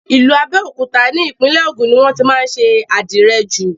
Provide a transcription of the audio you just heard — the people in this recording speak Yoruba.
Ìlú Abẹ́òkúta ni Ìpínlẹ̀ Ògùn ni wọ́n tí má ń ṣe àdìrẹ jù.